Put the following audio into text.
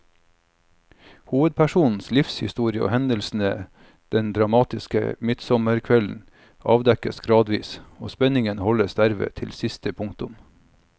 Hovedpersonens livshistorie og hendelsene den dramatiske midtsommerkvelden avdekkes gradvis, og spenningen holdes dermed til siste punktum.